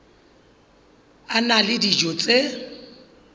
a na le dijo tse